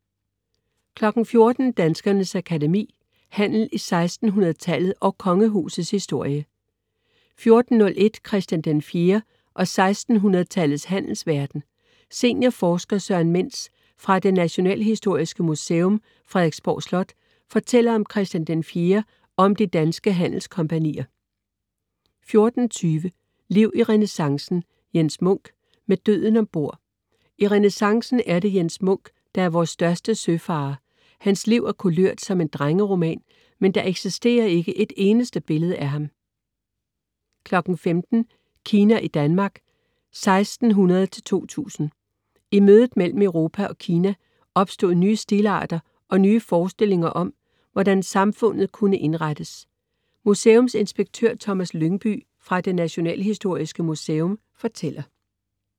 14.00 Danskernes Akademi: Handel i 1600-tallet & Kongehusets historie 14.01 Christian IV og 1600-tallets handelsverden. Seniorforsker Søren Mentz fra Det Nationalhistoriske Museum, Frederiksborg Slot fortæller om Christian IV, og om de danske handelskompagnier 14.20 Liv i renæssancen. Jens Munk: Med døden ombord. I renæssancen er det Jens Munk, der er vores største søfarer. Hans liv er kulørt som en drengeroman, men der eksisterer ikke et eneste billede af ham 15.00 Kina i Danmark 1600-2000. I mødet mellem Europa og Kina opstod nye stilarter og nye forestillinger om, hvordan samfundet kunne indrettes. Museumsinspektør Thomas Lyngbye fra Det Nationalhistoriske Museum fortæller